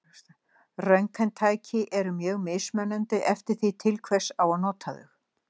Röntgentæki eru mjög mismunandi eftir því til hvers á að nota þau.